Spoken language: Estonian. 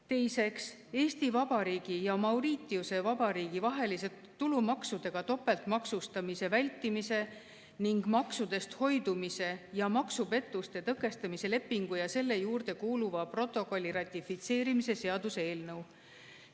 Teiseks, Eesti Vabariigi ja Mauritiuse Vabariigi vahelise tulumaksudega topeltmaksustamise vältimise ning maksudest hoidumise ja maksupettuste tõkestamise lepingu ja selle juurde kuuluva protokolli ratifitseerimise seaduse eelnõu.